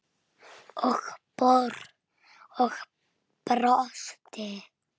Og brosti!